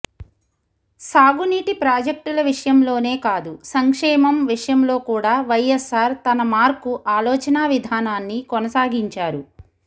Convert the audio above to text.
సాగునీటి ప్రాజెక్టుల విషయంలోనే కాదు సంక్షేమం విషయంలో కూడా వైఎస్సార్ తనమార్కు ఆలోచనావిధానాన్ని కొనసాగించారు